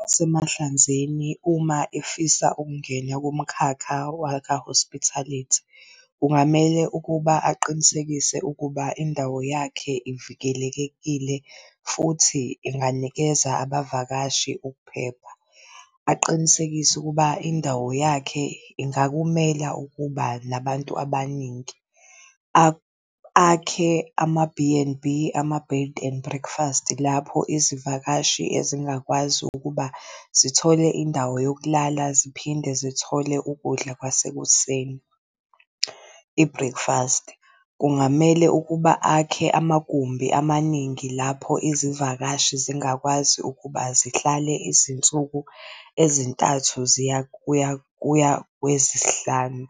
Nasemahlanzeni uma efisa ukungena kumkhakha waka-hospitality kungamele ukuba aqinisekise ukuba indawo yakhe ivikelekekile futhi inganikeza abavakashi ukuphepha. Aqinisekise ukuba indawo yakhe ingakumela ukuba nabantu abaningi. akhe ama-B_N_B, ama-Bed and Breakfast lapho izivakashi ezingakwazi ukuba zithole indawo yokulala ziphinde zithole ukudla kwasekuseni, i-breakfast. Kungamele ukuba akhe amagumbi amaningi lapho izivakashi zingakwazi ukuba zihlale izinsuku ezintathu ziya kuya kuya kwezisihlanu.